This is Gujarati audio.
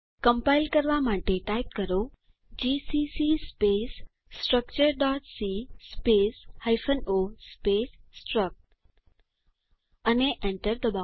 કમ્પાઈલ કરવા માટે ટાઇપ કરો જીસીસી સ્પેસ structureસી સ્પેસ o સ્પેસ સ્ટ્રક્ટ અને એન્ટર ડબાઓ